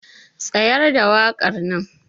Tsayar da wakar nan.